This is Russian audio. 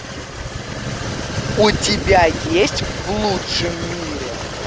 у тебя есть в лучшем мире